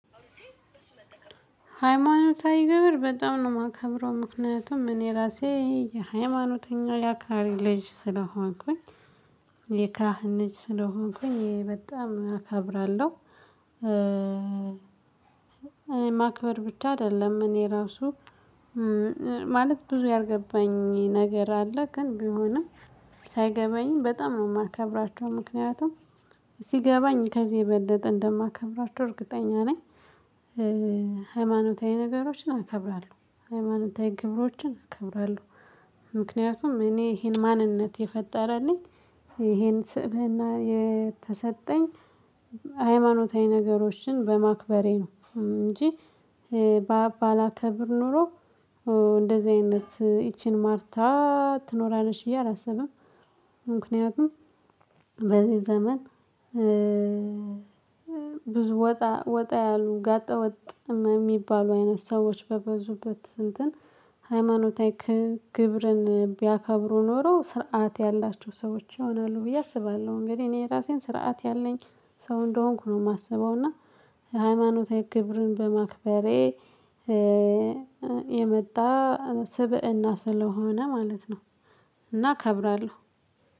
ሃይማኖታዊ ግብር በጣም ነው የማከብረው ምክንያቱም እኔ ራሴ የሃይማኖተኛው የአክራሪ ልጅ ስለሆንኩኝ የካህን ልጅ ስለሆንኩኝ በጣም አከብራለሁ። እኔ ማክበር ብቻ አይደለም እኔ ራሱ። ማለት ብዙ ያልገባኝ ነገር አለ ግን ቢሆንም። ሳይገባኝ በጣም ነው የማከብራቸው ምክንያቱም ሲገባኝ ከዚህ የበለጠ እንደማከብራቸው እርግጠኛ ነኝ። ሃይማኖታዊ ነገሮችን አከብራለሁ። ሃይማኖታዊ ግብሮችን አከብራለሁ። ምክንያቱም እኔ ይሄን ማንነት የፈጠረልኝ ይሄን ስብህና የተሰጠኝ ሃይማኖታዊ ነገሮችን በማክበሬ ነው። እንጂ ባላከብር ኖሮ። እንደዚህ አይነት ይቺን ማርታ ትኖራለች ብዬ አላስብም። ምክንያቱም በዚህ ዘመን። ብዙ ወጣ ወጣ ያሉ ጋጠ ወጥ የሚባሉ አይነት ሰዎች በበዙበት እንትን ሃይማኖታዊ ክ ግብርን ቢያከብሩ ኖሮ ስርዓት ያላቸው ሰዎች ይሆናሉ ብዬ አስባለሁ። እንግዲህ እኔ ራሴን ስርዓት ያለኝ ሰው እንደሆንኩ ነው የማስበው። እና ሃይማኖታዊ ግብርን በማክበሬ የመጣ ስብእና ስለሆነ ማለት ነው። እና አከብራለሁ።